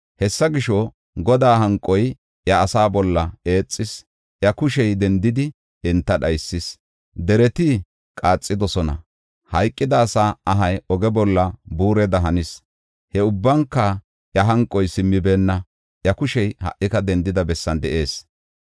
Hessa gisho, Godaa hanqoy iya asaa bolla eexis; iya kushey dendidi, enta dhaysis. Dereti qaaxidosona; hayqida asaa ahay oge bolla buureda hanis. He ubbanka iya hanqoy simmibeenna; iya kushey ha77ika dendida bessan de7ees.